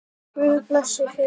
Guð blessi þig!